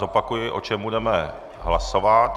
Zopakuji, o čem budeme hlasovat.